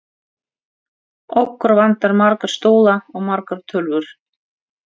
Okkur vantar marga stóla og margar tölvur.